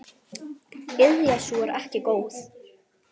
Iðja sú er ekki góð.